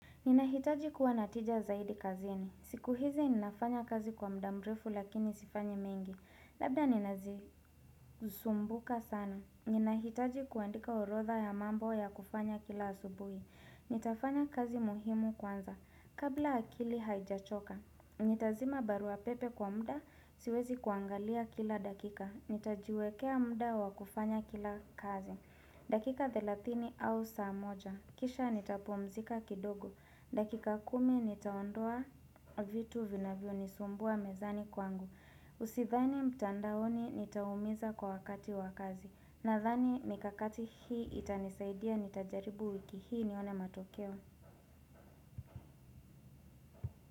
Ninahitaji kuwa na tija zaidi kazini. Siku hizi ninafanya kazi kwa muda mrefu lakini sifanyi mingi. Labda ninazisumbuka sana. Ninahitaji kuandika orodha ya mambo ya kufanya kila asubuhi. Nitafanya kazi muhimu kwanza. Kabla akili haijachoka. Nitazima barua pepe kwa muda siwezi kuangalia kila dakika. Nitajiwekea muda wa kufanya kila kazi. Dakika 30 au saa moja. Kisha nitapumzika kidogo. Dakika 10 nitaondoa vitu vinavyonisumbua mezani kwangu. Sithani mtandaone nitaumiza kwa wakati wa kazi Nathani mikakati hii itanisaidia nitajaribu wiki hii nione matokeo.